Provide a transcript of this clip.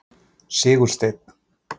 Sigursteinn